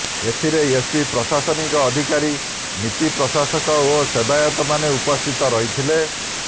ଏଥିରେ ଏସପି ପ୍ରଶାସନିକ ଅଧିକାରୀ ନିତିପ୍ରସାଶକ ଓ ସେବାୟତ ମାନେ ଉପସ୍ଥିତ ରହିଥିଲେ